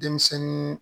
Denmisɛnnin